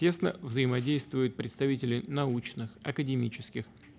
тесно взаимодействуют представители научных академических